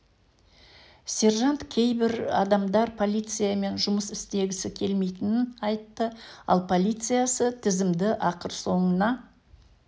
сержант кейбір адамдар полициямен жұмыс істегісі келмейтінін айтты ал полициясы тізімді ақыр соңына